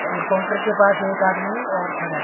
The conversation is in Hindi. और काउंटर के पास एक आदमी और खड़ा है।